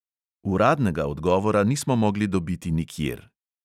Uradnega odgovora nismo mogli dobiti nikjer.